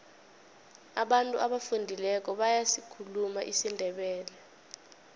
abantu abafundileko bayasikhuluma isindebele